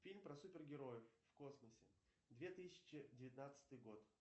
фильм про супер героев в космосе две тысячи девятнадцатый год